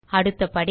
அடுத்த படி